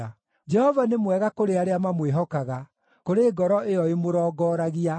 Jehova nĩ mwega kũrĩ arĩa mamwĩhokaga, kũrĩ ngoro ĩyo ĩmũrongoragia;